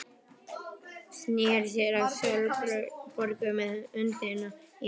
Sneri sér að Sólborgu með öndina í hálsinum.